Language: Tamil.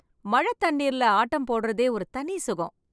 மழை தண்ணீரில ஆட்டம் போடுவதே ஒரு தனி சுகம்